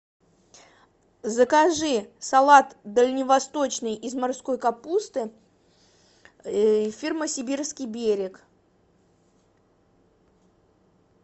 закажи салат дальневосточный из морской капусты фирмы сибирский берег